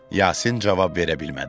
Yasin cavab verə bilmədi.